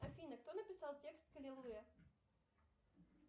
афина кто написал текст к аллилуйя